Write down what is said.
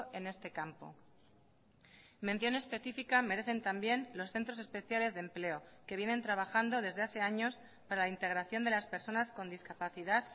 en este campo mención específica merecen también los centros especiales de empleo que vienen trabajando desde hace años para la integración de las personas con discapacidad